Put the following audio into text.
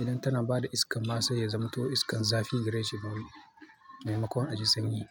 idan tana bada iskan masa ya zama to iskan zafi gire shi bawul. Maimakon aji sanyi.